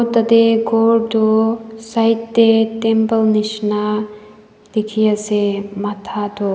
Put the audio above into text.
tatae khor tu side tae temple nishina dikhiase matha toh.